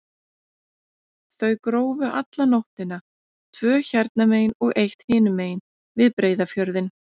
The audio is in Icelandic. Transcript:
Þau grófu alla nóttina, tvö hérna megin og eitt hinum megin, við Breiðafjörðinn.